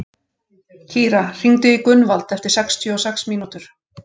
Kíra, hringdu í Gunnvald eftir sextíu og sex mínútur.